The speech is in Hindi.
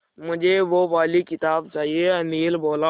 मुझे वो वाली किताब चाहिए अनिल बोला